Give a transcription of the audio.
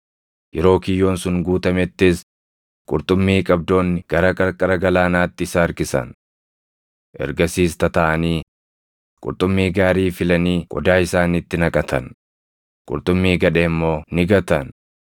Yeroo kiyyoon sun guutamettis qurxummii qabdoonni gara qarqara galaanaatti isa harkisan. Ergasiis tataaʼanii qurxummii gaarii filanii qodaa isaaniitti naqatan; qurxummii gadhee immoo ni gatan.